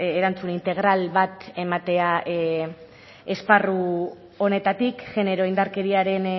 erantzun integral bat ematea esparru honetatik genero indarkeriaren